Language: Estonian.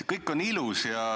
Kõik on ilus.